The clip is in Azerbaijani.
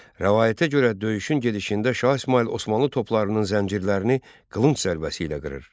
Rəvayətə görə döyüşün gedişində Şah İsmayıl Osmanlı toplarının zəncirlərini qılınc zərbəsi ilə qırır.